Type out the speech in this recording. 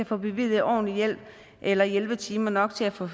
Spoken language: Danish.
få bevilget ordentlig hjælp eller hjælpetimer nok til at få